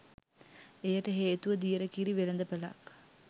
එයට හේතුව දියර කිරි වෙළඳපළක්